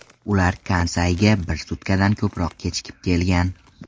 Ular Kansayga bir sutkadan ko‘proq kechikib kelgan.